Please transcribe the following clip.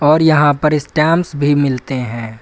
और यहां पर स्टाम्प्स भी मिलते हैं।